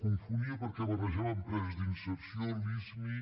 confonia perquè barrejava empreses d’inserció lismi